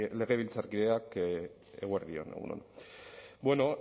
legebiltzarkideok egun on bueno